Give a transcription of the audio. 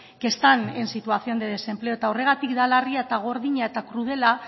que están en situación de desempleo eta horregatik da larria eta gordina eta krudela